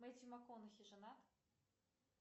мэттью макконахи женат